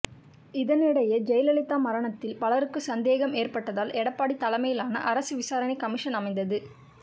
இதனிடையே ஜெயலலிதா மரணத்தில் பலருக்கும் சந்தேகம் ஏற்பட்டதால் எடப்பாடி தலைமையிலான அரசு விசாரணை கமிஷன் அமைத்தது